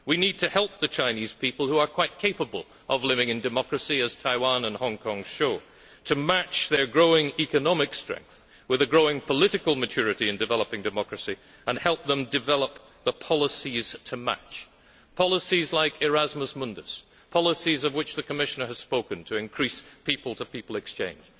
We need to help the Chinese people, who are quite capable of living in democracy as Taiwan and Hong Kong show to match their growing economic strength with a growing political maturity in developing democracy and help them develop the policies to match, policies like Erasmus Mundus, policies of which the Commissioner has spoken to increase people to people exchange.